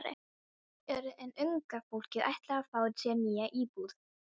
En unga fólkið ætlar að fá sér nýja íbúð.